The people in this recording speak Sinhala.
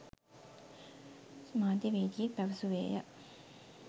මාධ්‍යවේදියෙක් පැවසුවේය.